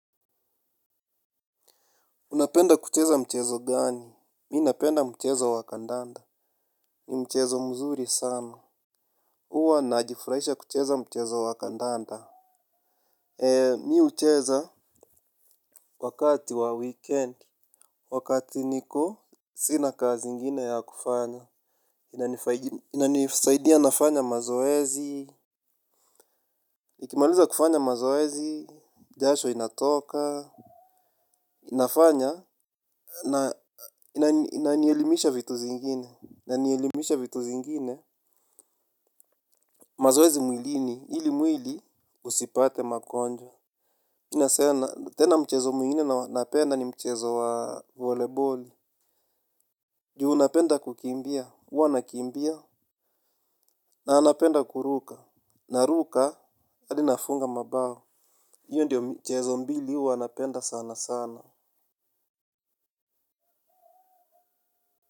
Unapenda kucheza mchezo gani? Mi napenda mchezo wa kandanda. Ni mchezo mzuri sana. Uwa najifurahisha kucheza mchezo wa kandanda. Mi ucheza wakati wa weekend. Wakati niko, sina kazi ingine ya kufanya. Inanisaidia nafanya mazoezi. Nikimaliza kufanya mazoezi, jasho inatoka. Inafanya na inanielimisha vitu zingine. Na nielimisha vitu zingine. Mazoezi mwilini, ili mwili usipate makonjwa. Inasena, tena mchezo mwingine na napenda ni mchezo wa voleboli. Juu napenda kukimbia, uwa nakimbia. Na napenda kuruka. Naruka, hadi nafunga mabao. Iyo ndio mchezo mbili huwa napenda sana sana.